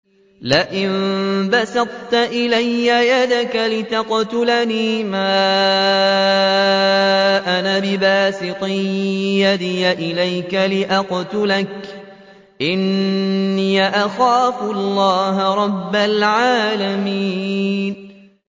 لَئِن بَسَطتَ إِلَيَّ يَدَكَ لِتَقْتُلَنِي مَا أَنَا بِبَاسِطٍ يَدِيَ إِلَيْكَ لِأَقْتُلَكَ ۖ إِنِّي أَخَافُ اللَّهَ رَبَّ الْعَالَمِينَ